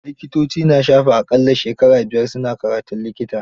Likitoci na shafe a ƙalla shekara buyar su na karatun likita.